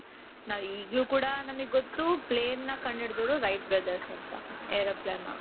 ನಾವೀಗ್ಲು ಕೂಡ ನಮಿಗ್ ಗೊತ್ತು planeನ ಕಂಡುಹಿಡಿದವರು Right brothers ಅಂತ Aeroplane ನ .